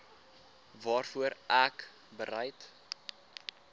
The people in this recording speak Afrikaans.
waarvoor ek bereid